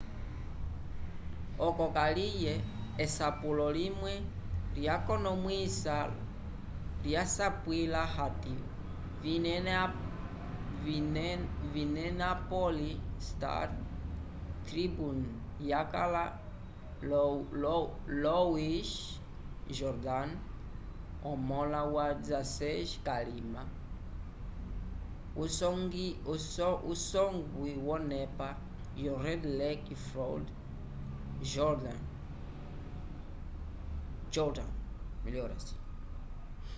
oco kaliye esapulo limwe lyakonomwisiwa lyasapwila hati minneapolis star-tribune yakala louis jourdain omõla wa 16 k'alima wusongwi wonepa red lake floyd jourdain